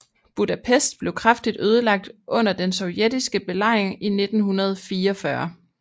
Budapest blev kraftigt ødelagt under den sovjetiske belejring i 1944